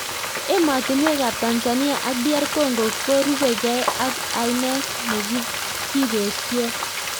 Emotinwek ap Tanzania ak DR Congo korupekei ak ainet nekipesio